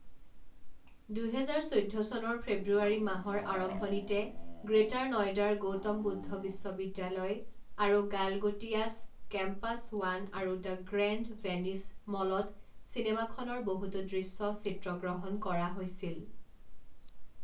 দুহেজাৰ চৈধ্য চনৰ ফেব্ৰুৱাৰী মাহৰ আৰম্ভণিতে গ্ৰেটাৰ নয়ডাৰ গৌতম বুদ্ধ বিশ্ববিদ্যালয় আৰু গালগোটিয়াছ কেম্পাছ ৱান আৰু দ্য গ্ৰেণ্ড ভেনিছ মলত চিনেমাখনৰ বহুতো দৃশ্য চিত্ৰগ্ৰহণ কৰা হৈছিল।